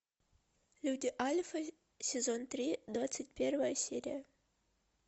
люди альфы сезон три двадцать первая серия